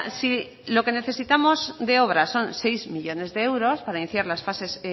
si lo que necesitamos de obra son seis millónes de euros para iniciar las fases